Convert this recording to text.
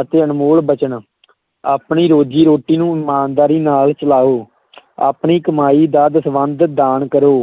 ਅਤੇ ਅਨਮੋਲ ਬਚਨ ਆਪਣੀ ਰੋਜ਼ੀ-ਰੋਟੀ ਨੂੰ ਇਮਾਨਦਾਰੀ ਨਾਲ ਚਲਾਓ ਆਪਣੀ ਕਮਾਈ ਦਾ ਦਸਵੰਧ ਦਾਨ ਕਰੋ